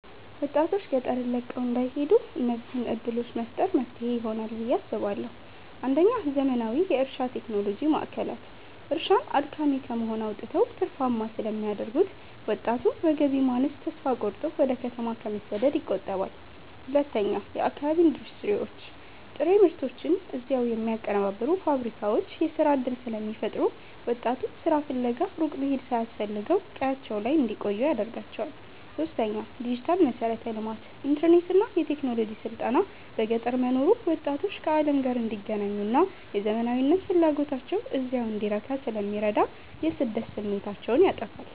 ወጣቶች ገጠርን ለቀው እንዳይሄዱ እነዚህን ዕድሎች መፍጠር መፍትሄ ይሆናል ብየ አስባለሁ ፩. ዘመናዊ የእርሻ ቴክኖሎጂ ማዕከላት፦ እርሻን አድካሚ ከመሆን አውጥተው ትርፋማ ስለሚያደርጉት፣ ወጣቱ በገቢ ማነስ ተስፋ ቆርጦ ወደ ከተማ ከመሰደድ ይቆጠባል። ፪. የአካባቢ ኢንዱስትሪዎች፦ ጥሬ ምርቶችን እዚያው የሚያቀነባብሩ ፋብሪካዎች የሥራ ዕድል ስለሚፈጥሩ፣ ወጣቱ ሥራ ፍለጋ ሩቅ መሄድ ሳያስፈልገው ቀያቸው ላይ እንዲቆዩ ያደርጋቸዋል። ፫. ዲጂታል መሠረተ ልማት፦ ኢንተርኔትና የቴክኖሎጂ ስልጠና በገጠር መኖሩ ወጣቶች ከዓለም ጋር እንዲገናኙና የዘመናዊነት ፍላጎታቸው እዚያው እንዲረካ ስለሚረዳ የስደት ስሜታቸውን ያጠፋዋል።